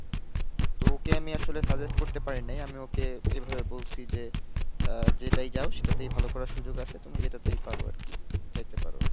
তো ওকে আমি আসলে suggest করতে পারি নাই, আমি ওকে এভাবে বলছি যে আ যেটাই যাও, সেটাতেই ভালো করার সুযোগ আছে, তুমি যেটাতেই পারো আর কি, যাইতে পারো।